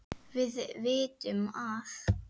Við vitum að